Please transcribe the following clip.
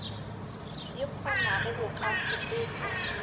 e kgonago go ka fokotša